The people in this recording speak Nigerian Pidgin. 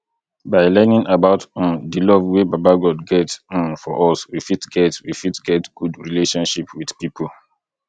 by learning about um the love wey baba god get um for us we fit get we fit get good relationship with pipo